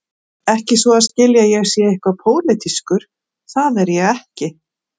Ekki svo að skilja að ég sé eitthvað pólitískur, það er ég ekki.